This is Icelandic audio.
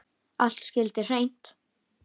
Allt skyldi hreint.